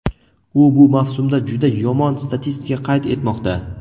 U bu mavsumda juda yomon statistika qayd etmoqda.